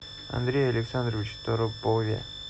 андрее александровиче торопове